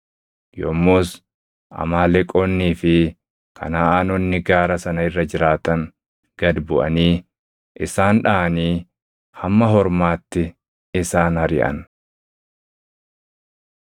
Yommus Amaaleqoonnii fi Kanaʼaanonni gaara sana irra jiraatan gad buʼanii isaan dhaʼanii hamma Hormaatti isaan ariʼan.